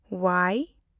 ᱳᱣᱟᱭ